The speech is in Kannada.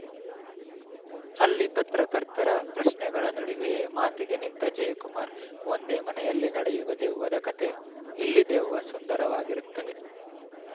ಅಲ್ಲಿ ಪತ್ರಕರ್ತರ ಪ್ರಶ್ನೆಗಳ ನಡುವೆಯೇ ಮಾತಿಗೆ ನಿಂತ ಜಯಕುಮಾರ್‌ ಒಂದೇ ಮನೆಯಲ್ಲಿ ನಡೆಯುವ ದೆವ್ವದ ಕತೆ ಇಲ್ಲಿ ದೆವ್ವ ಸುಂದರವಾಗಿರುತ್ತದೆ